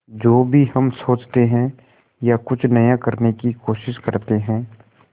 जो भी हम सोचते हैं या कुछ नया करने की कोशिश करते हैं